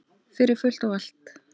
Fyrir fullt og allt.